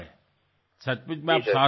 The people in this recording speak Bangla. সত্যিই আপনি সাধনা করছেন